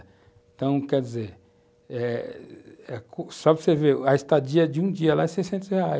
Então, quer dizer, eh só para você ver, a estadia de um dia lá é seiscentos reais.